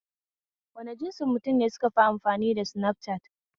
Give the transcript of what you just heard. Wane jinsin mutane ne sukafi amfani da sinafcat?